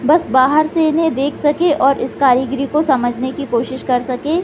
बस बाहर से इन्हे देख सके और इस कारीगरी को समझने की कोशिश कर सके --